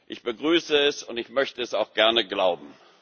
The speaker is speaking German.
will. Ich begrüße es, und ich möchte es auch gerne glauben.